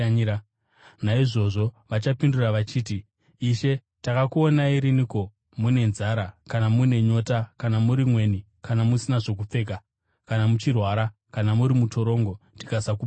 “Naizvozvo vachapindura vachiti, ‘Ishe, takakuonai riniko mune nzara kana mune nyota kana muri mweni kana musina zvokupfeka kana muchirwara kana muri mutorongo tikasakubatsirai?’